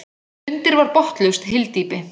Undir var botnlaust hyldýpi.